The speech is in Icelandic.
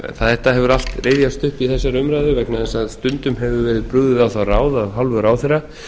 þetta hefur allt rifjast upp í þessari umræðu vegna þess að stundum hefur verið brugðið á það ráð af hálfu ráðherra